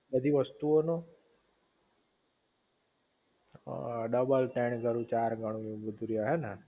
બધી વસ્તુ ઑ નો અ ડબલ તણ ગણું ચાર ગણું